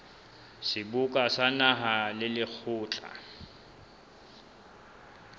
seboka sa naha le lekgotla